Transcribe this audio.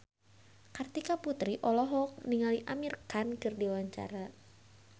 Kartika Putri olohok ningali Amir Khan keur diwawancara